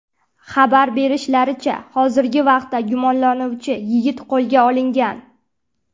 Xabar berishlaricha, hozirgi vaqtda gumonlanuvchi yigit qo‘lga olingan.